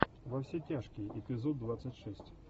во все тяжкие эпизод двадцать шесть